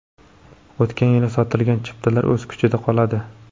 O‘tgan yili sotilgan chiptalar o‘z kuchida qoladi.